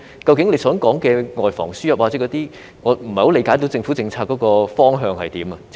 局長說的外防輸入等方面，我不太理解究竟政府的政策方向為何。